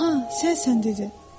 Aha, sən sənsən, dedi.